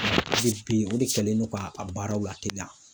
bi o de kɛlen don ka a baaraw lateliya